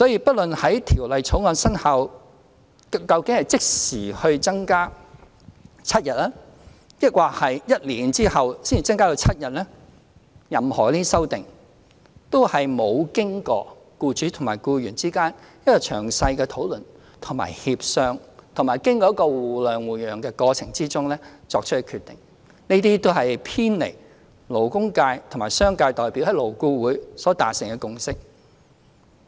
不論是在《條例草案》生效後即時把侍產假增至7天，還是在1年後才把侍產假增至7天，任何這些修正案若沒有經過僱主與僱員之間的詳細討論和協商，也不是經過互諒互讓的過程而作出的決定，這些修正案都是偏離了勞工界和商界代表在勞顧會所達成的共識。